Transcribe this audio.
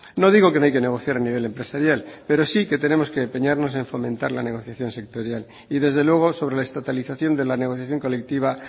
no digo que no hay que negociar a nivel empresarial pero sí que tenemos que empeñarnos a fomentar la negociación sectorial y desde luego sobre la estatalización de la negociación colectiva